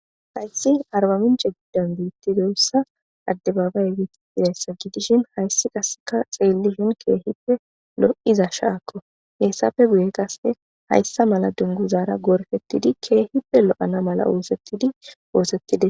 Hayssi arbaminche giddan beittidoyssa adde baabay geeitidayssa giidishin hayssi kaseka xielli shin keehippe lo'iza shaakko heessafe guye qase hayssa mala dungu zaara gorfettidi keehippe lo'ana mala woosettidi oosettide.